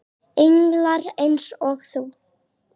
Englar eins og þú.